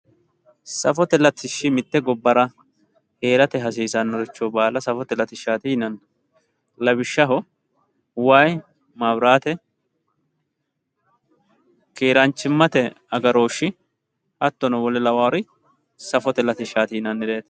safote latishshi mitte gobbara heerate hasiisannoricho baala safote latishshaati yinaanni lawishshaho wayii maabiraate keeraanchimmate agarooshshi hattono wole lawawoori safote latishshaati yinaannireeti.